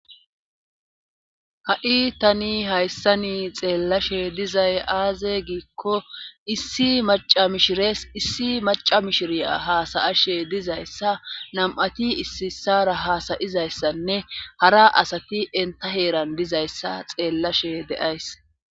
ha7i tani hayssa ni xeellashe dizay aaze giikko issi maca mishires issi maca mishiriya haasayashe dizayssa nam7ati issiissara haasayizayssanne hara asati enta heeran dizayssa xeellashe deays